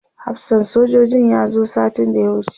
hafsan sojojin ya zo satin da ya wuce